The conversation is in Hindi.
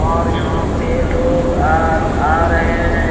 और यहां पर लोग आ आ रहे हैं।